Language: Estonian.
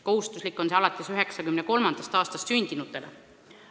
Kohustuslik on teine sammas neile, kes on sündinud 1993. aastal või hiljem.